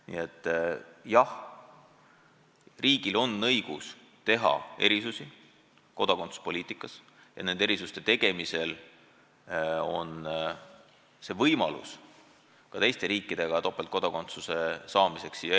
Nii et jah, riigil on õigus teha erisusi kodakondsuspoliitikas ja nende erisuste tegemisel on võimalus ka teiste riikidega topeltkodakondsus kokku leppida.